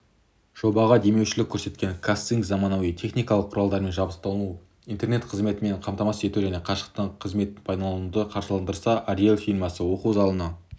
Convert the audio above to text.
жобаға демеушілік көрсеткен қазцинк заманауи техникалық құралдармен жабдықтап интернет қызметімен қамтамасыз ету және қашықтық қызметін пайдалануды қаржыландырса ореол фирмасы оқу залына